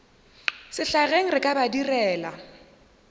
sehlageng re ka ba direla